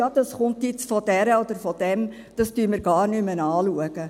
«Ja, das kommt jetzt von dieser oder jenem, das schauen wir gar nicht mehr an.»